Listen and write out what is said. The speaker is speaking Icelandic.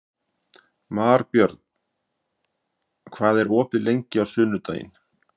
Marbjörn, hvað er opið lengi á sunnudaginn?